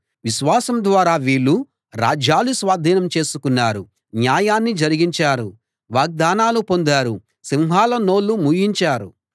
విశ్వాసం ద్వారా వీళ్ళు రాజ్యాలు స్వాధీనం చేసుకున్నారు న్యాయాన్ని జరిగించారు వాగ్దానాలు పొందారు సింహాల నోళ్ళు మూయించారు